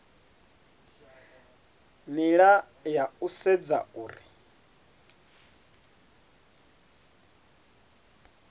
nila ya u sedza uri